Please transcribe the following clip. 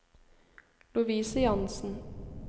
Lovise Jansen